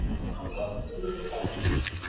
Það er gott að þú sérð það.